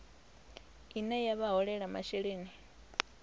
ine ya vha holela masheleni